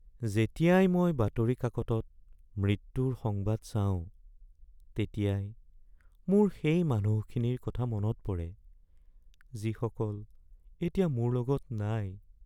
যেতিয়াই মই বাতৰি কাকতত মৃত্যুৰ সংবাদ চাওঁ, তেতিয়াই মোৰ সেই মানুহখিনিৰ কথা মনত পৰে যিসকল এতিয়া মোৰ লগত নাই